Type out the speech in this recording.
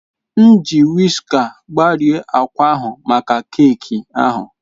M ji wiska gbarie akwa ahụ maka keeki ahụ.